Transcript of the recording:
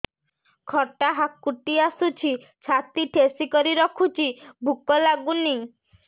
ଖଟା ହାକୁଟି ଆସୁଛି ଛାତି ଠେସିକରି ରଖୁଛି ଭୁକ ଲାଗୁନି